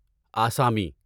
آسامی